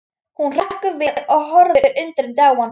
Hún hrekkur við og horfir undrandi á hann.